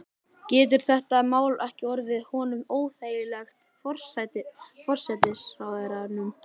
Getur þetta mál ekki orðið honum óþægilegt, forsætisráðherranum?